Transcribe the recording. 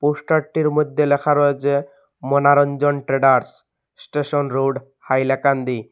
Poster -টির মইধ্যে লেখা রয়েছে Monoranjan traders station road Hailakandi.